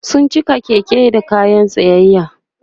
sun cika Keke da kayan siyayya